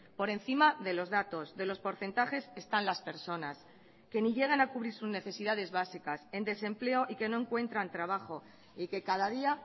por encima de los datos de los porcentajes están las personas que ni llegan a cubrir sus necesidades básicas en desempleo y que no encuentran trabajo y que cada día